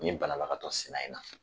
Nin balalagatɔ sina in na